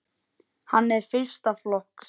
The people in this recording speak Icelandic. Hann er fyrsta flokks.